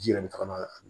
Ji yɛrɛ bɛ taga n'a ye